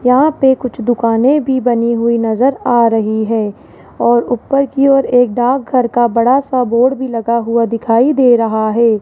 यहां पे कुछ दुकानें भी बनी हुई नजर आ रही है और ऊपर की ओर एक डाकघर का बड़ा सा बोर्ड भी लगा हुआ दिखाई दे रहा है।